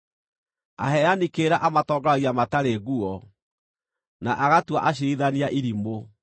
Aheani kĩrĩra amatongoragia matarĩ nguo, na agatua aciirithania irimũ.